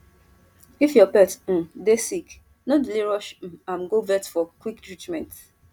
if your pet um dey sick no delay rush um am go vet for quick treatment